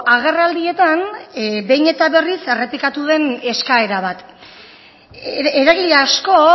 agerraldietan behin eta berriz errepikatu den eskaera bat eragile asko